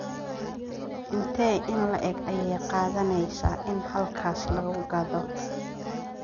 intee in le'eg ayay qaadanaysaa in halkaas lagu gaadho